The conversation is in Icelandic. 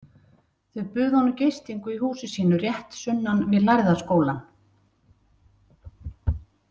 Þau buðu honum gistingu í húsi sínu rétt sunnan við Lærða skólann.